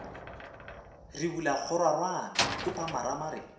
re bola kgororwane khupamarama re